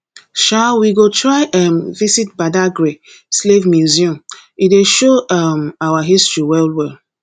um we go try um visit badagary slave museum e dey show um our history wellwell